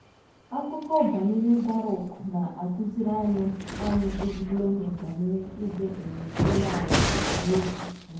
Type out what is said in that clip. Akụkọ banyere Barụk na-akụziri anyị anyị ezigbo ihe banyere ịdị um umeala n'obi um.